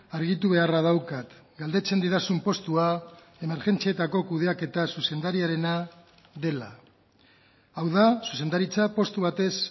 argitu beharra daukat galdetzen didazun postua emergentzietako kudeaketaz zuzendariarena dela hau da zuzendaritza postu batez